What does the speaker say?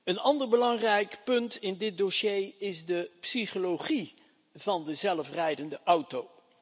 Een ander belangrijk punt in dit dossier is de psychologie van de zelfrijdende auto.